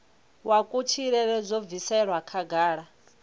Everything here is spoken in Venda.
wa kutshilele zwo bviselwa khagala